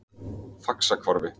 Faxahvarfi